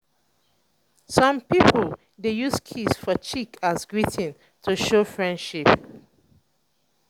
some pipo dey use kiss for cheek as greeting to show friendship